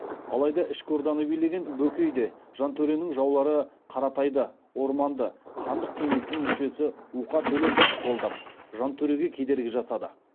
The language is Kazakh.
алайда ішкі орданы билеген бөкей де жантөренің жаулары қаратайды орманды хандық кеңестің мүшесі уқа төлеповты қолдап жантөреге кедергі жасады